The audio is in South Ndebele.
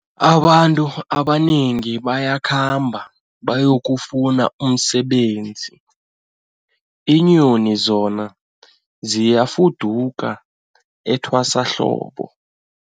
Abantu abanengi bayakhamba bayokufuna umsebenzi, iinyoni zona ziyafuduka etwasahlobo.